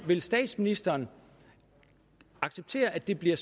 vil statsministeren acceptere at det bliver